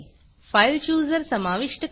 file Chooserफाईल chooser समाविष्ट करणे